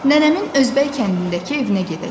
Nənəmin Özbək kəndindəki evinə gedəcəm.